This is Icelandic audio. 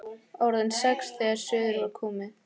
Orðin sex þegar suður var komið.